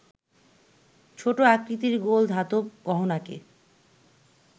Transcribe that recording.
ছোট আকৃতির গোল ধাতব গহনাকে